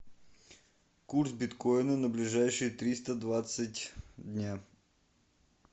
курс биткоина на ближайшие триста двадцать дня